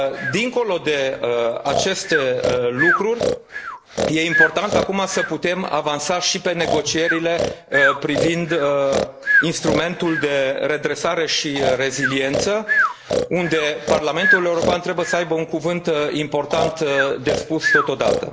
Dincolo de aceste lucruri, e important acum să putem avansa și pe negocierile privind instrumentul de redresare și reziliență, unde Parlamentul European trebuie să aibă un cuvânt important de spus totodată.